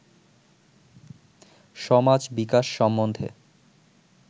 সমাজ-বিকাশ সম্বন্ধে